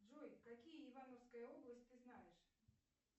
джой какие ивановская область ты знаешь